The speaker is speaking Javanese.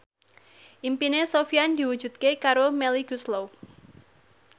impine Sofyan diwujudke karo Melly Goeslaw